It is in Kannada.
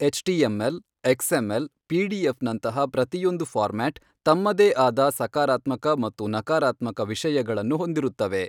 H T M L, X M L, PDF ನಂತಹ ಪ್ರತಿಯೊಂದು ಫಾರ್ಮ್ಯಾಟ್ ತಮ್ಮದೇ ಆದ ಸಕಾರಾತ್ಮಕ ಮತ್ತು ನಕಾರಾತ್ಮಕ ವಿಷಯಗಳನ್ನು ಹೊಂದಿರುತ್ತವೆ.